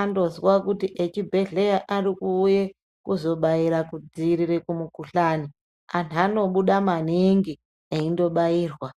andozwa kuti echibhedhleya ari kuuye kuzobaira kudziirire kumukuhlani antu anobuda maningi eindo bairwa.